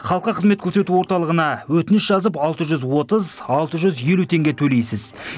халыққа қызмет көрсету орталығына өтініш жазып алты жүз отыз алты жүз елу теңге төлейсіз